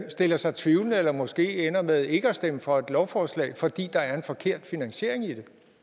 stiller sig tvivlende eller måske ender med ikke at stemme for et lovforslag fordi der er en forkert finansiering i